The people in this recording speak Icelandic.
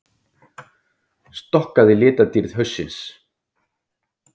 Skokkað í litadýrð haustsins